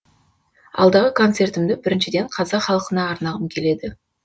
алдағы концертімді біріншіден қазақ халқына арнағым келеді